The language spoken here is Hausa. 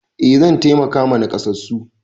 Eh zan taimaka ma nakasassu.